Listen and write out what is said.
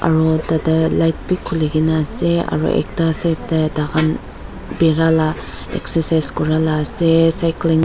Aro tatae light bi khulikaena ase aro ekta side tae tahan bira la excercise kurala ase cycling --